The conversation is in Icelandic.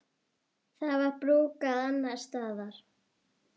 Það var brúkað annars staðar.